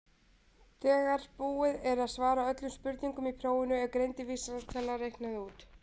þegar búið er að svara öllum spurningum í prófinu er greindarvísitala reiknuð út